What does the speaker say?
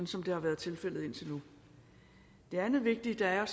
som det har været tilfældet indtil nu det andet vigtige der er at